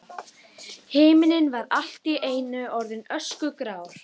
Himinninn var allt í einu orðinn öskugrár.